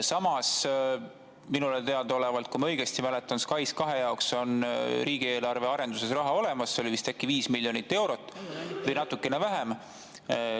Samas, minule teadaolevalt, kui ma õigesti mäletan, SKAIS2 jaoks on riigieelarves raha olemas, see oli vist äkki 5 miljonit eurot või natukene vähem.